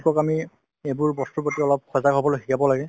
এওঁলোকক আমি এইবোৰ বস্তুৰ প্ৰতি অলপ সজাগ হবলৈ শিকাব লাগে ।